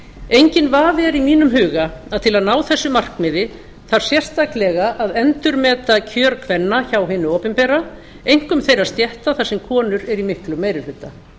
enginn vafi er í mínum huga að til að ná þessu markmiði þarf sérstaklega að endurmeta kjör kvenna hjá hinu opinbera einkum þeirra stétta þar sem konur eru í miklum meiri hluta